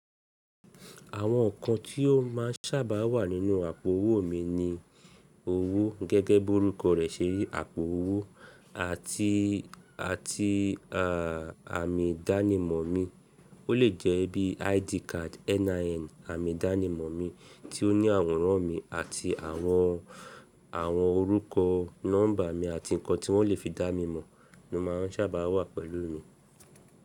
Àwọn nǹkan tí ó máa ń sábàá wà nínú àpò owó mi ni owó gẹ́gẹ́ bọ́rúkọ rẹ̀ ṣé rí àpò owó àti, àti à àmì dánimọ̀ mi. Ó lè jẹ́ bí I.D Card NIN àmì dánimọ̀ mi tí ó ní àwòrán mi àti àwọn, àwọn orúkọ, nọ́mbà mi àti nǹkan tí wọ́n lè fi dá mi mọ̀ ló máa ń sábàá wà pẹ̀lú mi.